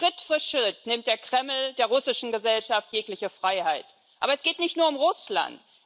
Schritt für Schritt nimmt der Kreml der russischen Gesellschaft jegliche Freiheit. Aber es geht nicht nur um Russland.